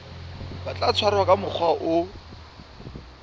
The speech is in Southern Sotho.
tla tshwarwa ka mokgwa o